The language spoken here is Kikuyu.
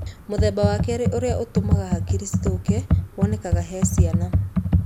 Mũthemba wa kerĩ ũrĩa ũtũmaga hakiri cithũke wonekanaga he ciana.